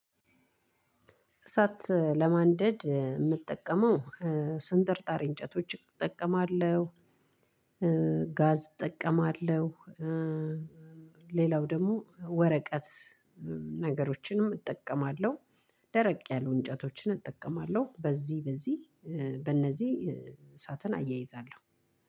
እሳት ለማንደድ የምጠቀመው ስንጥርጣሪ እንጨቶች እጠቀማለሁ። ጋዝ እጠቀማለሁ። ሌላው ደግሞ ወረቀት። ነገሮችንም እጠቀማለሁ ደረቅ ያሉ እንጨቶችን እጠቀማለሁ። በዚህ በዚህ በእነዚህ እሳትን አያይዛለሁ